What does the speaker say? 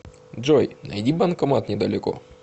джой найди банкомат недалеко